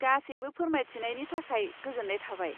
गासैबो फोरमायथिनायनि थाखाय गोजोन्नाय थाबाय।